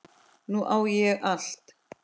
Nú á ég allt.